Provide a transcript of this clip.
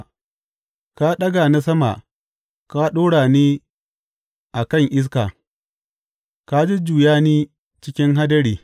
Ka ɗaga ni sama ka ɗora ni a kan iska; ka jujjuya ni cikin hadari.